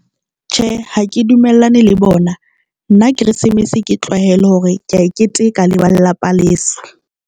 Tjhe, ha ke dumellane le bona nna Keresemese ke tlwahele hore ke ya e keteka le ba lelapa leso.